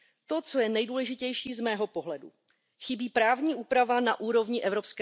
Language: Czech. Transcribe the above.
To, co je nedůležitější z mého pohledu chybí právní úprava na úrovni